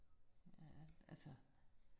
Ja, altså